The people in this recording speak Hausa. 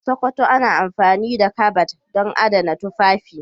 A Sokoto ana amfani da kabad don adana tufafi.